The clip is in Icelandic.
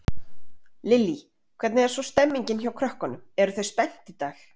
Lillý: Hvernig er svo stemmingin hjá krökkunum, eru þau spennt í dag?